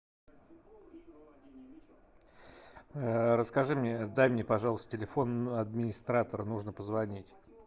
э расскажи мне дай мне пожалуйста телефон администратора нужно позвонить